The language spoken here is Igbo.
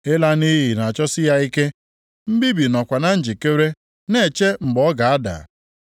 Ịla nʼiyi na-achọsi ya ike; mbibi nọkwa na njikere na-eche mgbe ọ ga-ada.